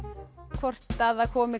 hvort að að komi